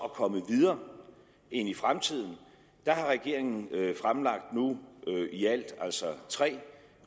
at komme videre og ind i fremtiden har regeringen fremlagt i alt tre